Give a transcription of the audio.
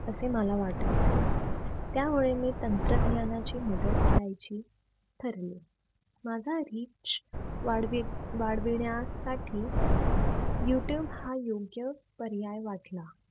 असे मला वाटायचे त्यामुळे मी तंत्रज्ञानाची मदत घ्यायची ठरविले माझा RICH वाढवी वाढविण्यासाठी youtube हा योग्य पर्याय वाटला.